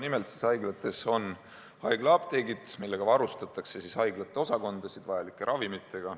Nimelt, haiglates on apteegid, millega varustatakse haiglate osakondi vajalike ravimitega.